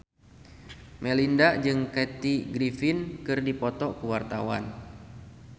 Melinda jeung Kathy Griffin keur dipoto ku wartawan